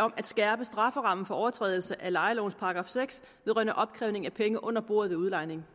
om at skærpe strafferammen for overtrædelse af lejelovens § seks vedrørende opkrævning af penge under bordet ved udlejning